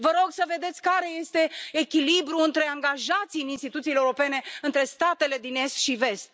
Vă rog să vedeți care este echilibrul între angajații în instituțiile europene, între statele din est și vest.